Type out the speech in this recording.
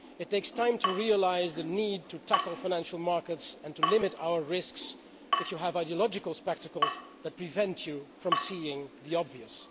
It takes time to realise the need to tackle financial markets and to limit our risks if you have ideological spectacles that prevent you from seeing the obvious.